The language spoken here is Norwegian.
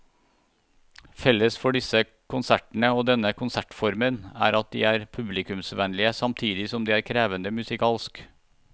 Felles for disse konsertene og denne konsertformen er at de er publikumsvennlige samtidig som de er krevende musikalsk.